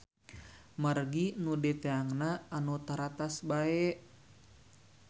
Margi nu dietangna anu taratas bae.